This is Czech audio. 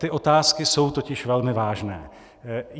Ty otázky jsou totiž velmi vážné.